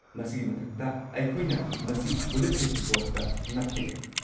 ꯃꯁꯤꯒꯤ ꯃꯊꯛꯇ, ꯑꯩꯈꯣꯏꯅ ꯃꯁꯤ ꯕꯨꯂꯦꯇꯤꯟ ꯕꯣꯔꯗꯇ ꯅꯞꯄ ꯌꯥꯏ꯫